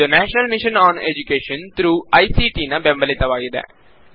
ಅದು national mission on education through I C ಟಿನ ಬೆಂಬಲಿತವಾಗಿದೆ